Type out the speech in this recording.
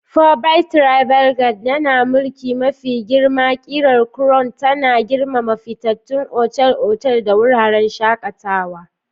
Forbes Travel Guide yana mulki mafi girma. Ƙimar Crown tana girmama fitattun otal-otal da wuraren shakatawa.